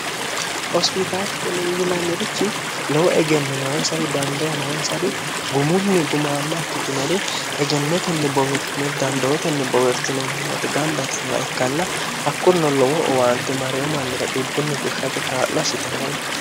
hospitaalinni yinannirichi lowo egenno noonsari dandoo noonsari gumunni gumaamma ikittinori egennotenni boweertinori dandootenni bowertinomannooto gamba itinowa ikkanna hakkurno lowo'owaante mareyo mannira dhibbunni fushshate kaa'lo hassitannore ikkae